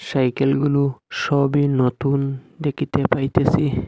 সাইকেলগুলো সবই নতুন দেখিতে পাইতেছি।